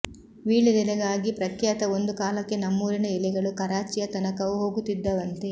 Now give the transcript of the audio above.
ವೀಳೆದೆಲೆಗಾಗಿ ಪ್ರಖ್ಯಾತ ಒಂದು ಕಾಲಕ್ಕೆ ನಮ್ಮೂರಿನ ಎಲೆಗಳು ಕರಾಚಿಯ ತನಕವೂ ಹೋಗುತ್ತಿದ್ದವಂತೆ